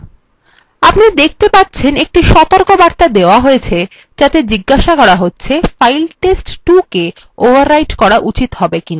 আপনি দেখতে পারছেন একটি সতর্কবার্তা দেওয়া হয়েছে যাতে জিজ্ঞাসা করা হচ্ছে ফাইল test2কে overwrite করা উচিত হবে কী হবে না